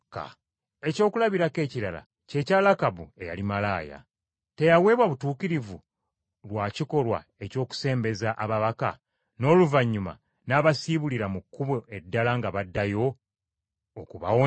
Ekyokulabirako ekirala kye kya Lakabu, eyali malaaya. Teyaweebwa butuukirivu lwa kikolwa eky’okusembeza ababaka, n’oluvannyuma n’abasiibulira mu kkubo eddala nga baddayo, okubawonya?